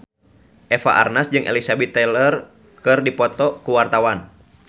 Eva Arnaz jeung Elizabeth Taylor keur dipoto ku wartawan